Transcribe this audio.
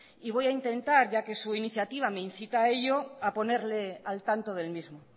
y voy a intentar ya que su iniciativa me insita a ello a ponerle al tanto del mismo